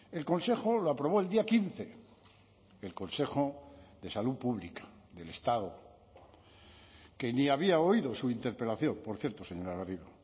el consejo lo aprobó el día quince el consejo de salud pública del estado que ni había oído su interpelación por cierto señora garrido